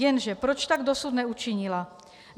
Jenže proč tak dosud neučinila?